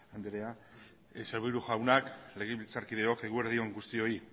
anderea sailburu jaunak legebiltzarkideok eguerdi on guztioi